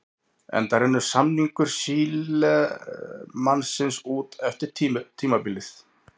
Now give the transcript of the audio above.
Enda rennur samningur Sílemannsins út eftir tímabilið.